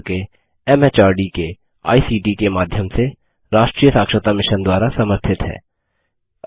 भारत सरकार के एमएचआरडी के आईसीटी के माध्यम से राष्ट्रीय साक्षरता मिशन द्वारा समर्थित है